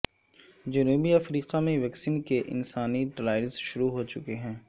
جنوبی افریقہ میں ویکسین کے انسانی ٹرائلز شروع ہو چکے ہیں